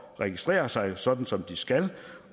registrere sig sådan som de skal